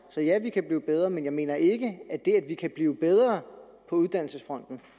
sige ja vi kan blive bedre men jeg mener ikke at det at vi kan blive bedre på uddannelsesfronten